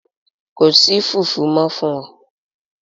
Ko si fufu mọ fun ọ!